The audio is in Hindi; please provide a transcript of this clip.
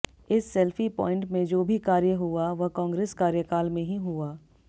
इस सेल्फी प्वाइंट में जो भी कार्य हुआ वह कांग्रेस कार्यकाल में ही हुआ